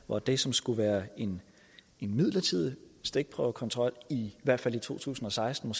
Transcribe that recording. hvor det som skulle være en midlertidig stikprøvekontrol i hvert fald i to tusind og seksten